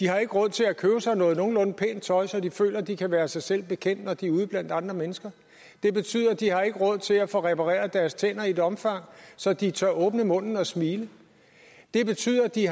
har råd til at købe sig noget nogenlunde pænt tøj så de føler de kan være sig selv bekendt når de er ude blandt andre mennesker det betyder at de ikke har råd til at få repareret deres tænder i et omfang så de tør åbne munden og smile det betyder at de